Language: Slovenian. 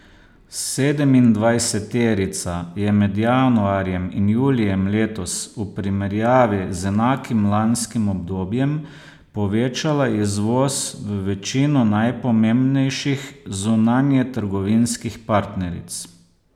Sedemindvajseterica je med januarjem in julijem letos v primerjavi z enakim lanskim obdobjem povečala izvoz v večino najpomembnejših zunanjetrgovinskih partneric.